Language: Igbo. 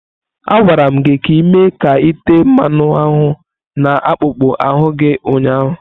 A gwara gị ka ị mee ka ite mmanu ahu na akpụkpọ ahụ gị ụnyahụ!